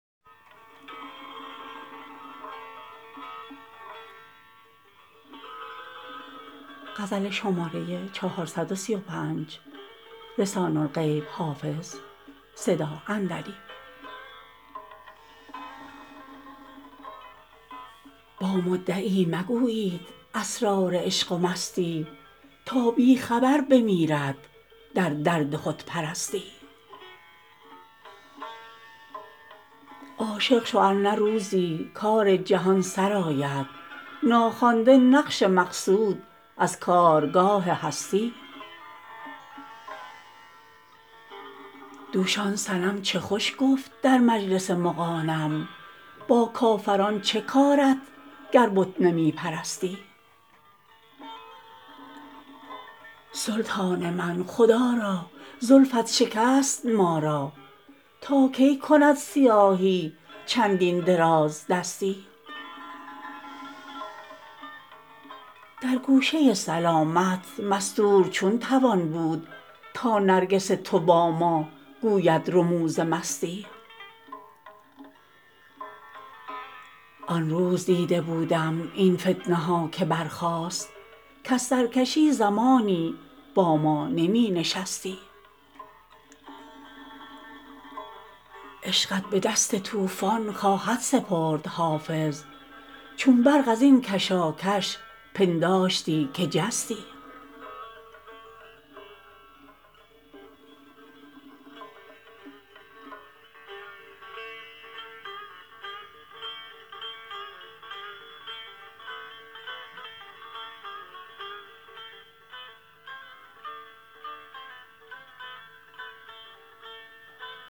با مدعی مگویید اسرار عشق و مستی تا بی خبر بمیرد در درد خودپرستی عاشق شو ار نه روزی کار جهان سرآید ناخوانده نقش مقصود از کارگاه هستی دوش آن صنم چه خوش گفت در مجلس مغانم با کافران چه کارت گر بت نمی پرستی سلطان من خدا را زلفت شکست ما را تا کی کند سیاهی چندین درازدستی در گوشه سلامت مستور چون توان بود تا نرگس تو با ما گوید رموز مستی آن روز دیده بودم این فتنه ها که برخاست کز سرکشی زمانی با ما نمی نشستی عشقت به دست طوفان خواهد سپرد حافظ چون برق از این کشاکش پنداشتی که جستی